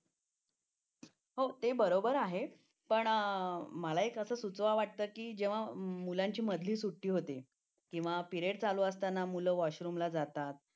हो ते बरोबर आहे पण मला एक असं सुचवा वाटतं की मुलांची जेव्हा मधली सुट्टी होती किंवा पिरेड चालू असताना मुलं वॉशरूमला जातात